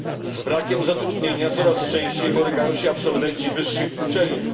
Z brakiem zatrudnienia coraz częściej borykają się absolwenci wyższych uczelni.